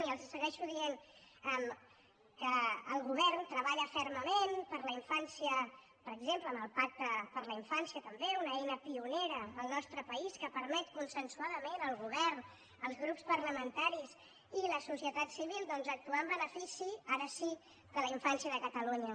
i els segueixo dient que el govern treballa fermament per la infància per exemple amb el pacte per a la infància també una eina pionera al nostre país que permet consensuadament al govern els grups parlamentaris i la societat civil doncs actuar en benefici ara sí de la infància de catalunya